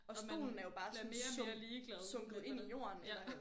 Og man bliver mere og mere ligeglad ja